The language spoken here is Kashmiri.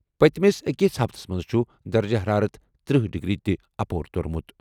پٔتمِس أکِس ہفتَس منٛز چھُ درجہٕ حرارت تٔرہ ڈگری اپور توٚرمُت۔